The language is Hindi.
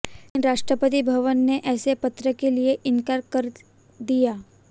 लेकिन राष्ट्रपति भवन ने ऐसे पत्र के लिए इनकार कर दिया